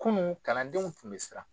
Kunun kalandenw tun bɛ siran.